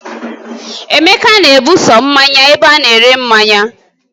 Emeka na-ebuso mmanya ebe ana-ere mmanya